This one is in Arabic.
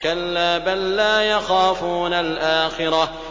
كَلَّا ۖ بَل لَّا يَخَافُونَ الْآخِرَةَ